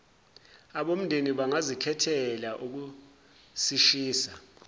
abomndeni bangazikhethela ukusishisa